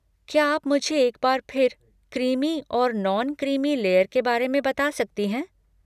क्या आप मुझे एक बार फिर क्रीमी और नॉन क्रीमी लेयर के बारे में बता सकती हैं?